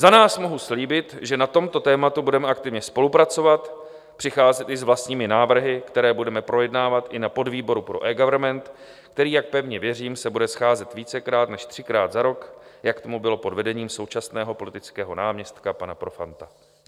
Za nás mohu slíbit, že na tomto tématu budeme aktivně spolupracovat, přicházet i s vlastními návrhy, které budeme projednávat i na podvýboru pro eGovernment, který, jak pevně věřím, se bude scházet vícekrát než třikrát za rok, jak tomu bylo pod vedením současného politického náměstka pana Profanta.